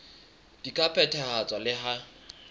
di ka phethahatswa le ha